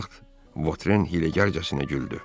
Bu vaxt Votren hiləgərcəsinə güldü.